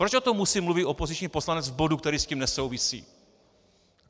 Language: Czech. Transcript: Proč o tom musí mluvit opoziční poslanec v bodu, který s tím nesouvisí?